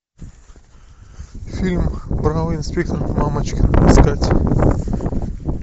фильм бравый инспектор мамочкин искать